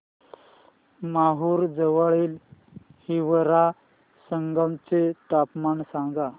माहूर जवळील हिवरा संगम चे तापमान सांगा